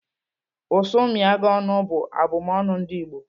"Ụsụ mịa gị ọnụ," bụ abụmọnu ndị Igbo.